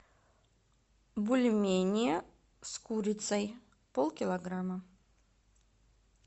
бульмени с курицей полкилограмма